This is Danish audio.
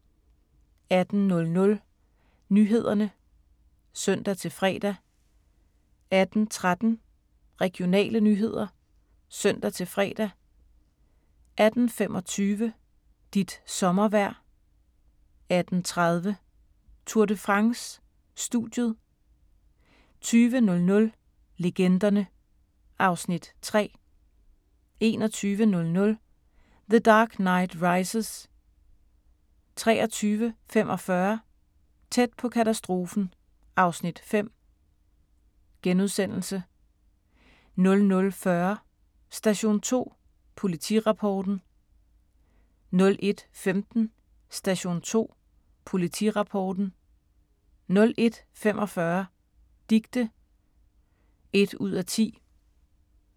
18:00: Nyhederne (søn-fre) 18:13: Regionale nyheder (søn-fre) 18:25: Dit sommervejr 18:30: Tour de France: Studiet 20:00: Legenderne (Afs. 3) 21:00: The Dark Knight Rises 23:45: Tæt på katastrofen (Afs. 5)* 00:40: Station 2 Politirapporten 01:15: Station 2 Politirapporten 01:45: Dicte (1:10)